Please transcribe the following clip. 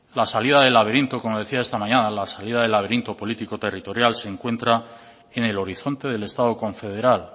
la salida del laberinto como decía esta mañana la salida del laberinto político territorial se encuentra en el horizonte del estado confederal